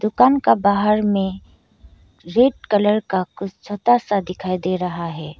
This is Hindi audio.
दुकान का बाहर में रेड कलर का कुछ छोटा सा दिखाई दे रहा है।